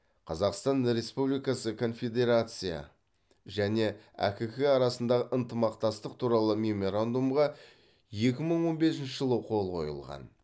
қазақстан республикасы конфедерация және әкк арасындағы ынтымақтастық туралы меморандумға екі мың он бесінші жылы қол қойылған